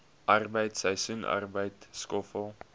arbeid seisoensarbeid skoffel